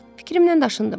Fikrimdən daşındım.